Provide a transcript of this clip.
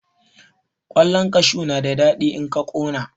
Ƙwallan kashu na da daɗi in aka ƙona.